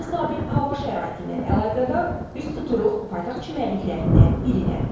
Qeyri-sabit hava şəraiti ilə əlaqədar üz tuturuq paytaxt çimərliklərindən birinə.